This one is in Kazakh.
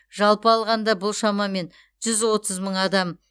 жалпы алғанда бұл шамамен жүз отыз мың адам